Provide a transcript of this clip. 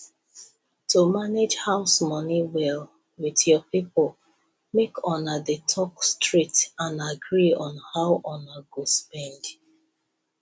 to manage house money well with your people make una dey talk straight and agree on how una go spend